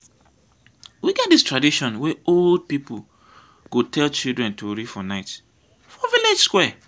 we get dis tradition wey old pipu go dey tell childre tori for night for village square.